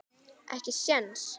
Ekki séns.